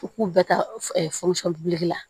U k'u bɛɛ ta la